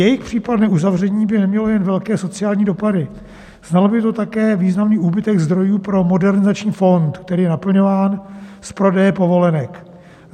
Jejich případné uzavření by nemělo jen velké sociální dopady, znamenalo by to také významný úbytek zdrojů pro Modernizační fond, který je naplňován z prodeje povolenek.